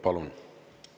Palun!